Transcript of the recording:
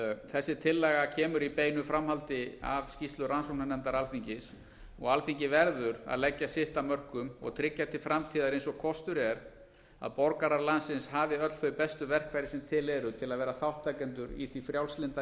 þessi tillaga kemur í beinu framhaldi af skýrslu rannsóknarnefndar alþingis og alþingi verður að leggja sitt af mörkum og tryggja til framtíðar eins og kostur er að borgarar landsins hafi öll þau bestu verkfæri sem til eru til að vera þátttakendur í því frjálslynda